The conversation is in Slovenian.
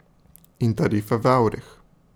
In tarife v evrih.